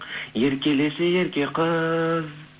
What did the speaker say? еркелеші ерке қыз